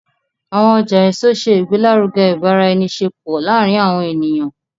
Awọn ọja eso ṣe igbelaruge ibaraenisepo laarin awọn eniyan